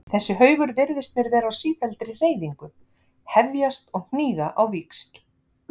Þessi haugur virtist mér vera á sífelldri hreyfingu, hefjast og hníga á víxl.